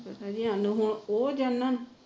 ਸਾਨੂੰ ਹੁਣ ਉਹ ਦਿਨ